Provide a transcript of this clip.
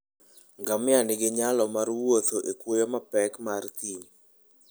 Ngamia nigi nyalo mar wuotho e kwoyo mapek mar thim.